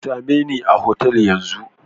Sa me ni a hotel Yan zun.